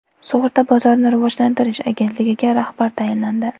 Sug‘urta bozorini rivojlantirish agentligiga rahbar tayinlandi.